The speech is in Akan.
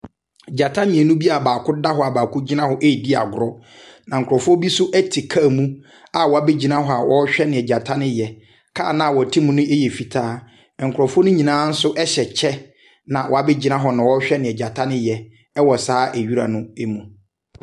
Gyata mmienu bi a baako da hɔ a baako gyiana redi agoro. Nakrɔfoɔ bi nso car mu a wɔabegyina hɔ a wɔrehwɛ nea gyata no reyɛ. Car no awɔte mu no yɛ fitaa. Wɔn nyinaa hyɛ kyɛ na wɔabegyina hɔ na wɔrehwɛ nea gyata no reyɛ wɔ saa ewira no mu.